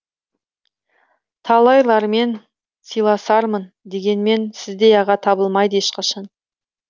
талайлармен сыйласармын дегенмен сіздей аға табылмайды ешқашан